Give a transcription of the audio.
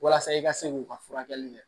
Walasa i ka se k'u ka furakɛli kɛ